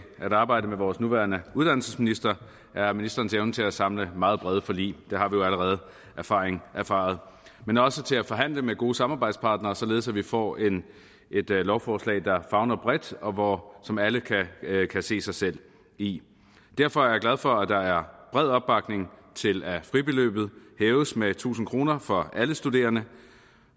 at arbejde sammen med vores nuværende uddannelsesminister er ministerens evne til at samle meget brede forlig det har vi jo allerede erfaret erfaret men også til at forhandle med gode samarbejdspartnere således at vi får et lovforslag der favner bredt og som alle kan se sig selv i derfor er jeg glad for at der er bred opbakning til at fribeløbet hæves med tusind kroner for alle studerende